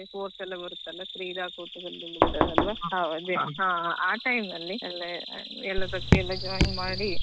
ಅದೇ sports ಎಲ್ಲ ಇರ್ತದಲ್ವಾ ಕ್ರೀಡಾಕೂಟದಲ್ಲಿ ಎಲ್ಲ ಹಾ ಆ time ಅಲ್ಲಿ ಎಲ್ಲದಕ್ಕೂ ಎಲ್ಲ join ಮಾಡಿ.